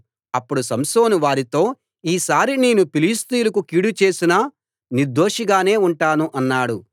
అప్పుడు సంసోను వారితో ఈ సారి నేను ఫిలిష్తీయులకు కీడు చేసినా నిర్దోషి గానే ఉంటాను అన్నాడు